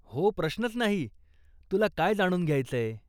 हो प्रश्नच नाही, तुला काय जाणून घ्यायचंय?